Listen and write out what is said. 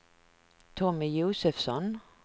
Tommy Josefsson